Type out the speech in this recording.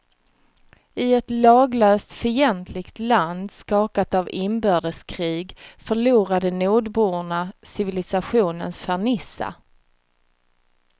I ett laglöst, fientligt land skakat av inbördeskrig förlorade nordborna civilisationens fernissa.